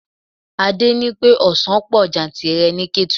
Adé ní pé ọsan pọ̀ jantìrẹrẹ ni Ketu.